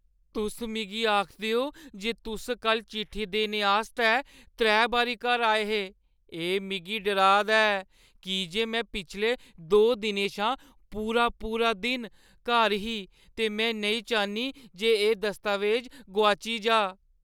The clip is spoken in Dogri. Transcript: तुस मिगी आखदे ओ जे तुस कल्ल चिट्ठी देने आस्तै त्रै बारी घर आए हे, एह् मिगी डराऽ दा ऐ, की जे में पिछले दो दिनें शा पूरा-पूरा दिन घर ही ते में नेईं चाह्न्नीं जे एह् दस्तावेज़ गुआई जाऽ।